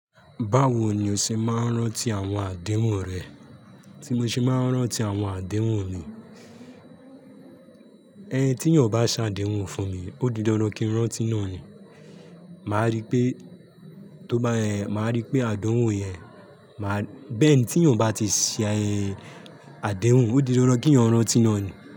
Báwo ni o ṣe máa ń rántí àwọn àdéhùn rẹ? Tí mo ṣe máa ń rántí àwọn àdéhùn mi, ẹni tí yàn bá ṣàdéhùn fún mi, ó di dandan kí n rántí náà ni. Màá rí pé, tó bá, màá rí pé àdéhùn yẹn, máa, bẹ́ẹ̀ ni tí yàn bá ti ṣe àdéhùn, ó di dandan kí yàn rántí náà ni.